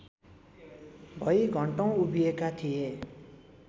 भई घन्टौँ उभिएका थिए